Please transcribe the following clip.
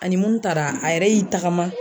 Ani mun taara a yɛrɛ y'i tagama.